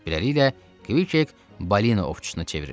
Beləliklə Kk balina ovçusuna çevrilir.